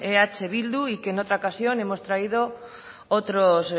eh bildu y que en otra ocasión hemos traído otros